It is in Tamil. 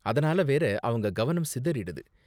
அதனால வேற அவங்க கவனம் சிதறிடுது.